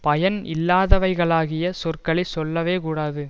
பயன் இல்லாதவைகளாகிய சொற்களை சொல்லவே கூடாது